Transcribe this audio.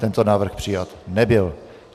Tento návrh přijat nebyl.